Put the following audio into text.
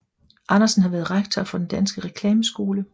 Andersen har været rektor for Den Danske Reklameskole